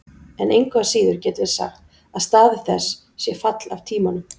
En engu að síður getum við sagt að staður þess sé fall af tímanum: